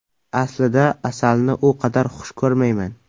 Aslida, asalni u qadar xush ko‘rmayman.